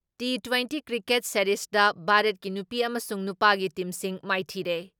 T twenty cricket ꯁꯦꯔꯤꯁꯗ ꯚꯥꯔꯠꯀꯤ ꯅꯨꯄꯤ ꯑꯃꯁꯨꯡ ꯅꯨꯄꯥꯒꯤ ꯇꯤꯝꯁꯤꯡ ꯃꯥꯏꯊꯤꯔꯦ ꯫